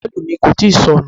Bọ́ọ̀lù mi kò tíì sọnù.